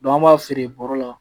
an b'a feere bɔrɔ la